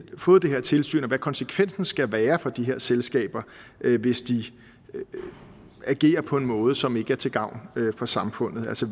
fået det her tilsyn og hvad konsekvensen skal være for de her selskaber hvis de agerer på en måde som ikke er til gavn for samfundet altså